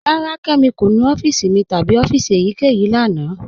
Rárá, Kẹmi kò nú ọ̀fíìsì mi tabi ọ̀fíìsì èyíkẹyìí lána.